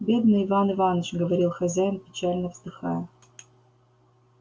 бедный иван иваныч говорил хозяин печально вздыхая